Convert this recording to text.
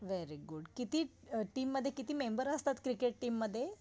Very good. किती अ टीममध्ये किती मेंबर असतात क्रिकेट टीम मध्ये?